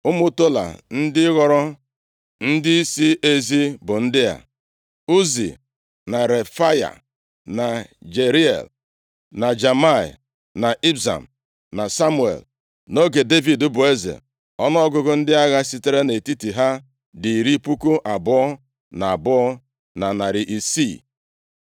Ụmụ Tola ndị ghọrọ ndịisi ezi bụ ndị a: Uzi, na Refaya, na Jeriel, na Jamai, na Ibsam, na Samuel. Nʼoge Devid bụ eze, ọnụọgụgụ ndị agha sitere nʼetiti ha dị iri puku abụọ na abụọ, na narị isii. (22,600).